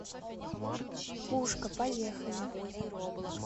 пушка поехали